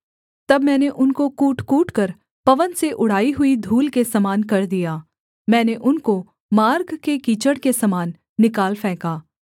तब मैंने उनको कूट कूटकर पवन से उड़ाई हुई धूल के समान कर दिया मैंने उनको मार्ग के कीचड़ के समान निकाल फेंका